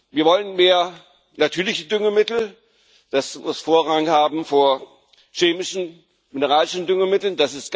Wir wollen mehr natürliche Düngemittel das muss Vorrang haben vor chemischen mineralischen Düngemitteln.